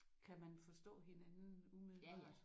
Kan man forstå hinanden umiddelbart?